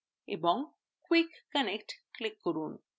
এবং quick connect click করুন